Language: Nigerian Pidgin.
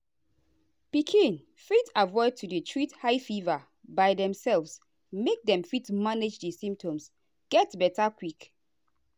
pikin fit avoid to dey treat high fever by demselves make dem fit manage di symptoms get beta quick.